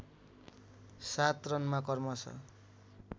७ रनमा क्रमश